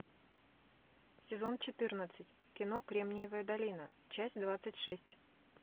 сезон четырнадцать кино кремниевая долина часть двадцать шесть